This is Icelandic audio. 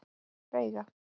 Veiga